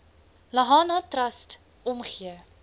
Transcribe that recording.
lahana trust omgee